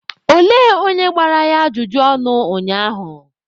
Olee onye gbara ya ajụjụ ọnụ ụnyaahụ?